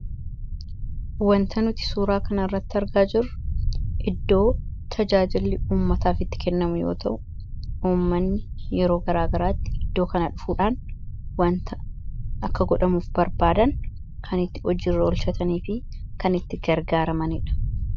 Waanta nuti suuraa kanarratti argaa jirru iddoo tajaajilli uummataaf itti kennamu yommuu ta'u, uummatni yeroo garaa garaatti iddoo kana dhufuudhaan waanta akka godhamuuf barbaadan, kan itti hojiirra oolchatanii fi kan itti gargaaramanidha.